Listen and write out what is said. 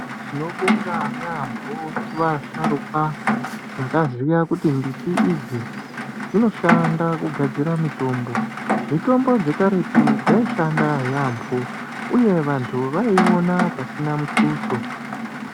Tinobonga yambo kune vasharukwa vakaziya kuti mbiti idzi dzinoshanda kugadzira mitombo, mitombo dzekaretu dzaishanda yambo uye vantu vaiiona pasina mutuso.